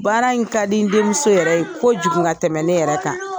Baara in ka di n denmuso yɛrɛ ye ko jugu ka tɛmɛn ne yɛrɛ kan.